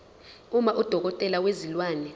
uma udokotela wezilwane